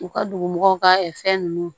U ka dugumɔgɔw ka fɛn nunnu